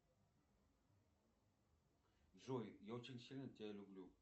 джой я очень сильно тебя люблю